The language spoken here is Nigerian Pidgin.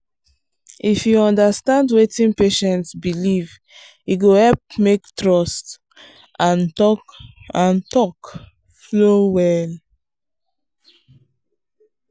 if you understand wetin patient believe e go help make trust and talk and talk flow well.